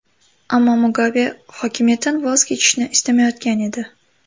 Ammo Mugabe hokimiyatdan voz kechishni istamayotgan edi.